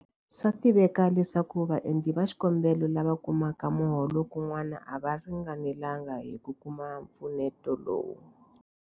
Swa tiveka leswaku vaendli va xikombelo lava kumaka miholo kun'wana a va ringanelanga hi ku kuma mpfuneto lowu.